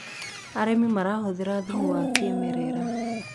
arĩmi marahuthira thumu wa kĩmerera